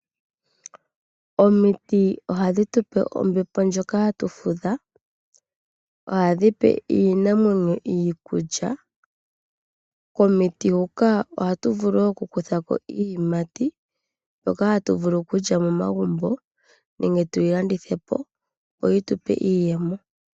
Omiti ohadhi tupe ombepo ndjoka hatu fudha. Ohadhi pe iinamwenyo iikulya. Komiti huka ohatu vulu okukutha ko iiyimati mbyoka hatu vulu okulya momagumbo nenge tuyi landithe po opo yi tupe iiyemo.